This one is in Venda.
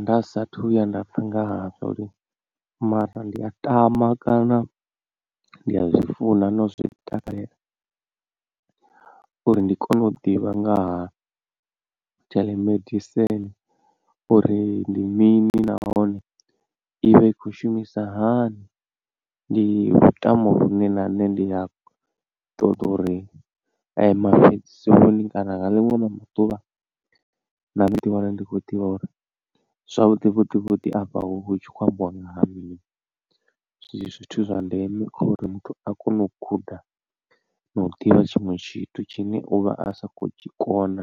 Nda sa athu vhuya nda pfha nga hazwo uri mara ndi a tama kana ndi a zwi funa na u zwi takalela uri ndi kone u ḓivha ngaha telemedicine uri ndi mini nahone ivha i kho shumisa hani ndi lutamo lune na nṋe ndi a ṱoḓa uri mafhedziseloni kana nga ḽiṅwe ḽa maḓuvha nṋe ndi ḓi wane ndi khou ḓivha uri zwavhuḓi vhuḓi vhuḓi afha huvha hutshi khou ambiwa nga ha mini. Zwithu zwa ndeme kha uri muthu a kone u guda na u ḓivha tshiṅwe tshithu tshine uvha a sa khou tshikona